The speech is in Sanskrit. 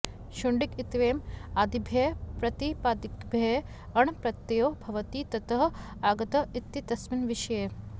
शुण्डिक इत्येवम् आदिभ्यः प्रातिपदिकेभ्यः अण् प्रत्ययो भवति ततः आगतः इत्येतस्मिन् विषये